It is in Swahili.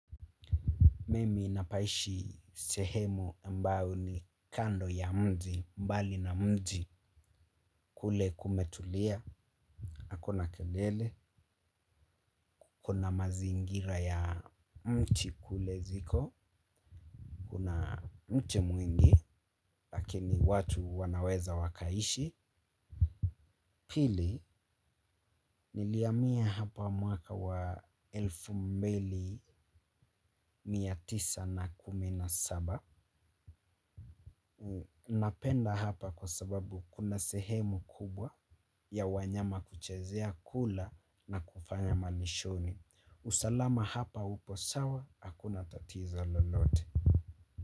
Mimi napaishi sehemu ambayo ni kando ya mji mbali na mji kule kumetulia hakuna kelele, kuna mazingira ya mti kule ziko, kuna mti mwingi lakini watu wanaweza wakaishi. Pili nilihamia hapa mwaka wa elfu mbili mia tisa na kumi na saba. Napenda hapa kwa sababu kuna sehemu kubwa ya wanyama kuchezea kula na kufanya manishoni. Usalama hapa upo sawa, hakuna tatiza lolote.